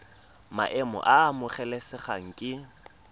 maemo a a amogelesegang ke